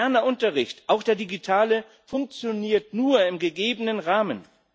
Moderner Unterricht, auch der digitale, funktioniert nur im gegebenen Rahmen.